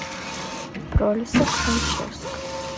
пролисок алчевск